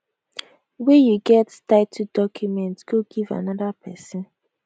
wey you get titled documents go give give anoda pesin